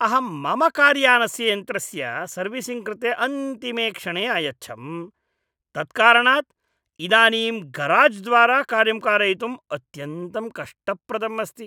अहं मम कार्यानस्य यन्त्रस्य सर्विसिङ्ग् कृते अन्तिमे क्षणे अयच्छम्, तत्कारणात् इदानीं गराज्द्वारा कार्यं कारयितुम् अत्यन्तं कष्टप्रदम् अस्ति।